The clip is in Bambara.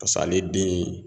ale den